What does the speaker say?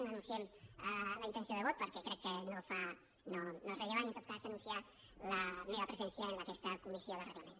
no anunciem la intenció de vot perquè crec que no és rellevant i en tot cas anunciar la meva presència en aquesta comissió de reglament